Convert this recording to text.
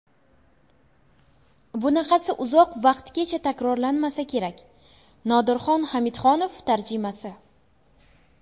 Bunaqasi uzoq vaqtgacha takrorlanmasa kerak... Nodirxon Hamidxonov tarjimasi !